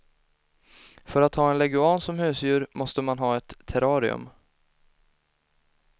För att ha en leguan som husdjur måste man ha ett terrarium.